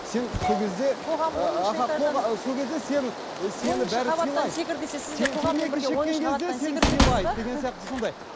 сен сол кезде